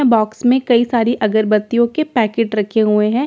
box में कही सारी अगरबत्तियों के पैकेट्स रखे हुए हैं कही --